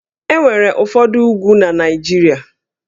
E nwere ụfọdụ úgwú na Naịjirịa